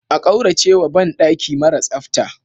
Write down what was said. A kauracewa ban daki mara tsafta.